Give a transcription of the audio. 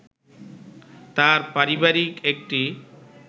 তার পারিবারিক একটি